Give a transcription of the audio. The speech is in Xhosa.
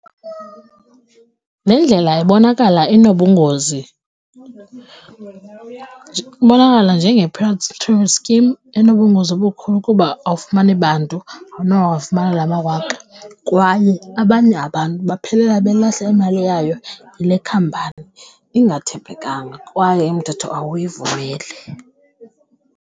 Le ndlela ibonakala inobungozi, ibonakala njenge-pyramid scheme enobungozi obukhulu kuba awufumani bantu, awunowafumana la mawaka. Kwaye abanye abantu baphelela belahlwa imali yabo yile khampani ingathembekanga kwaye umthetho awuyivumeli.